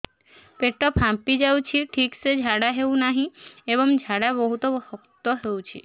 ପେଟ ଫାମ୍ପି ଯାଉଛି ଠିକ ସେ ଝାଡା ହେଉନାହିଁ ଏବଂ ଝାଡା ବହୁତ ଶକ୍ତ ହେଉଛି